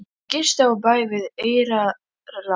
Þau gistu á bæ við Eyrarland.